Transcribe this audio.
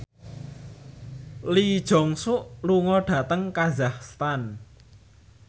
Lee Jeong Suk lunga dhateng kazakhstan